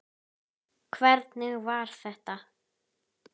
Hvernig var þetta?